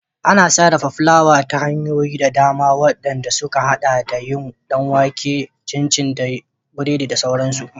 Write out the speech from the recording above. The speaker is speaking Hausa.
Ana sarrafa fulawa ta hanyoyi da dama, waɗand suka haɗa da yin ɗan wake, cinci, biredi da sauransu.